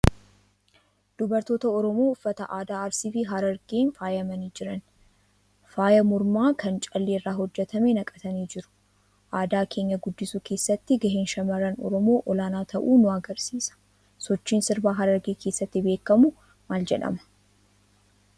Dubartoota Oromoo uffata aadaa Arsii fi Harargeen faayamanii jiran, faaya mormaa kan callee irraa hojjetame naqatanii jiru. Aadaa keenya guddisuu keessatti gaheen shamarran Oromoo olaanaa ta'uu nu agarsiisa. Sochiin sirbaa Harargee keessatti beekamu maal jedhama?